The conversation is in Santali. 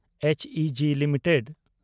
ᱮᱪᱤᱡᱤ ᱞᱤᱢᱤᱴᱮᱰ